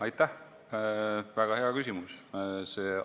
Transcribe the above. Aitäh, väga hea küsimus!